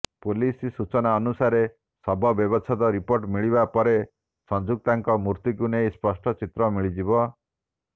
police ସୂଚନାନୁସାରେ ଶବ ବ୍ୟବଚ୍ଛେଦ ରିପୋର୍ଟ ମିଳିବା ପରେ ସଂଯୁକ୍ତାଙ୍କ ମୃତ୍ୟୁକୁ ନେଇ ସ୍ପଷ୍ଟ ଚିତ୍ର ମିଳିଯିବ